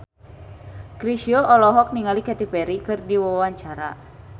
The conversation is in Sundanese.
Chrisye olohok ningali Katy Perry keur diwawancara